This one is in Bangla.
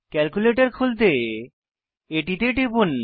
ক্যালকুলেটর খুলতে এটিতে টিপুন